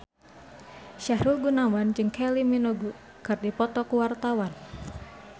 Sahrul Gunawan jeung Kylie Minogue keur dipoto ku wartawan